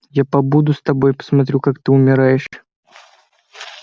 я побуду с тобой посмотрю как ты умираешь